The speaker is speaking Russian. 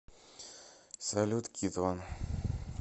салют китван